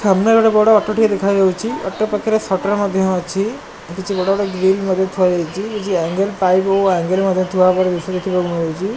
ସାମ୍ନା ରେ ଗୋଟେ ବଡ଼ ଅଟୋ ଟିଏ ଦେଖାଯାଉଚି ଅଟୋ ପାଖରେ ସଟର ମଧ୍ୟ ଅଛି ଆଉ କିଛି ବଡ଼ ବଡ଼ ଗ୍ରିଲ ମଧ୍ୟ ଥୁଆ ଯାଇଚି କିଛି ଆଙ୍ଗଲ ପାଇପ ଓ ଆଙ୍ଗଲ ମଧ୍ୟ ଥୁଆ ହେବାର ଦୃଶ୍ୟ ଦେଖିବାକୁ ମିଳୁଚି।